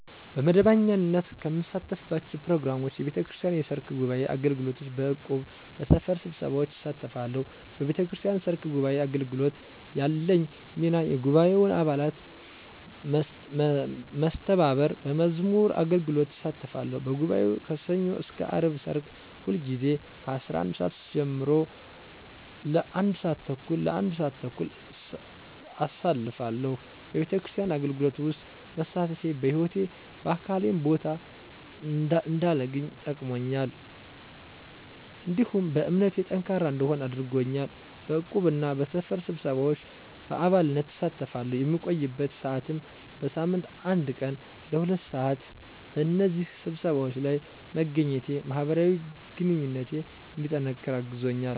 በመደበኛነት ከምሳተፍባቸው ፕሮግራሞች፣ የቤተክርስቲያን የሰርክ ጉባዔ አገልግሎት፣ በእቁብ፣ በሰፈር ስብሰባዎች እሳተፋተለሁ። በቤተክርስቲያን ሰርክ ጉባዓ አገልግሎት ያለኝ ሚና የጉባኤውን አባላት መስተባበር፣ በመዝሙር አገልግሎት እሳተፋለሁ፤ በጉባኤው ከሠኞ እስከ አርብ ሰርክ ሁልጊዜ ከ11:00 ሰዓት ጀምሮ ለ1:30 (ለአንድ ሰዓት ተኩል) አሳልፋለሁ፤ በቤተክርስቲያን አገልግሎት ውስጥ መሳተፌ በህይወቴ በአልባሌ ቦታ እንዳልገኝ ጠቅሞኛል፤ እንዲሁም በእምነቴ ጠንካራ እንድሆን አድርጎኛል። በዕቁብ እና በሰፈር ስብሰባዎች በአባልነት እሳተፋለሁ፣ የምቆይበት ሰዓትም በሳምንት አንድ ቀን ለ2:00 ሰዓት (ለሁለት ሰዓት)፣ በእነዚህ ስብሰባዎች ለይ መገኘቴ ማህበራዊ ግንኙነቴ እንዲጠነቅር አግዞኛል።